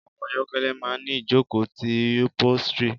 Ọkọ̀ ayokele máa ń ìjókòó ti upholstery.